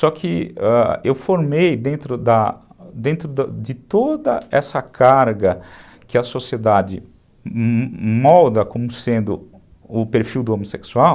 Só que eu formei, dentro de toda essa carga que a sociedade molda como sendo o perfil do homossexual,